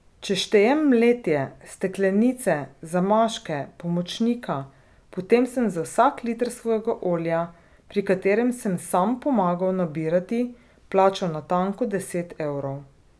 Če štejem mletje, steklenice, zamaške, pomočnika, potem sem za vsak liter svojega olja, pri katerem sem sam pomagal nabirati, plačal natanko deset evrov.